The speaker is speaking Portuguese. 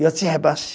Eu te rebaixo.